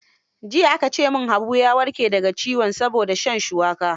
Jiya ake ce min, Habu ya warke da ga ciwon saboda shan shuwaka.